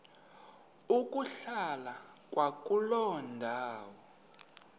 ukuhlala kwakuloo ndawo